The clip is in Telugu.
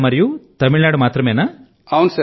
కేరళ ఇంకా తమిళ నాడు మాత్రమేనా